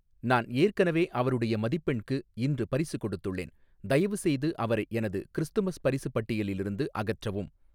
நான் ஏற்கனவே அவருடைய மதிப்பெண்க்கு இன்று பரிசு கொடுத்துள்ளேன் தயவுசெய்து அவரை எனது கிறிஸ்துமஸ் பரிசு பட்டியலில் இருந்து அகற்றவும்